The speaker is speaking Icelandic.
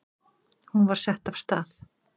Hún var sett af stað.